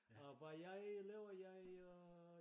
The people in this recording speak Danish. Og hvad jeg laver jeg øh